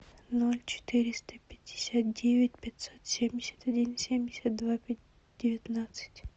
ноль четыреста пятьдесят девять пятьсот семьдесят один семьдесят два девятнадцать